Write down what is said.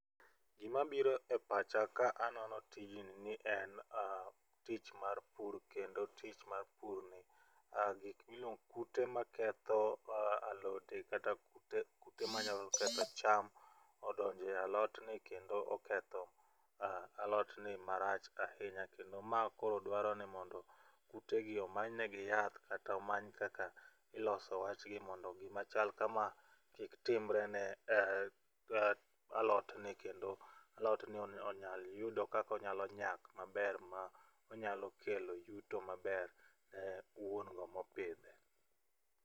Gima biro e pacha ka anono tijni ni en tich mar pur kendo tich mar pur ni gik gik miluong kute ma ketho alode kata kute kute manyalo ketho cham odonje a lot ni kendo oketho alot ni marach ahinya, kendo ma koro dwaro ni mondo kute gi omany ne gi yath kata omany kaka iloso wach gi mondo gima chal kama kik chak timre ne alotni kendo alod ni onyal yudo kako nyalo nyak maber monyalo kelo yuto maber ne wuon go mopidhe.